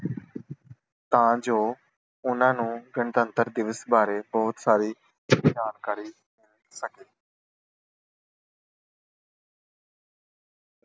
ਤਾਂ ਜੋ ਉਨ੍ਹਾਂ ਨੂੰ ਗਣਤੰਤਰ ਦਿਵਸ ਬਾਰੇ ਬਹੁਤ ਸਾਰੀ ਜਾਣਕਾਰੀ